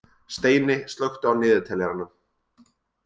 Steini, slökktu á niðurteljaranum.